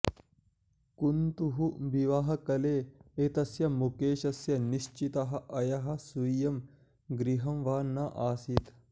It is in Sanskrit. कुन्तु विवाहकले एतस्य मुकेशस्य निश्चितः अयः स्वीयं गृहं वा नासीत्